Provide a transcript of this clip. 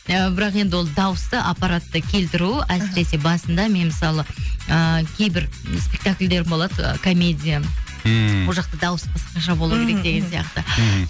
і бірақ енді ол дауысты аппаратты келтіру әсіресе басында мен мысалы ыыы кейбір спектакльдерім болады ы комедия ммм ол жақта дауыс басқаша болу керек деген сияқты мхм